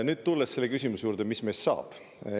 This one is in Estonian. Nüüd tulen selle küsimuse juurde, mis meist saab.